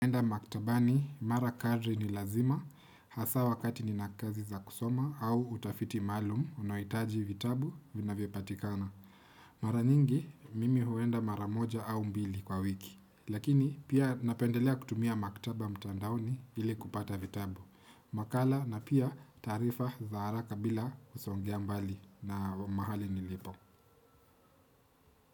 Huenda maktabani, mara kadri ni lazima, hasa wakati ninakazi za kusoma au utafiti maalum, unaohitaji vitabu vinavyopatikana. Mara nyingi, mimi huenda mara moja au mbili kwa wiki. Lakini, pia napendelea kutumia maktaba mtandaoni hili kupata vitabu. Makala na pia taarifa za haraka bila kusongea mbali na mahali nilipo.